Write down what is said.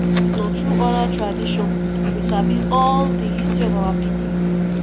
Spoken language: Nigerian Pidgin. na through oral tradition we sabi all the history of our people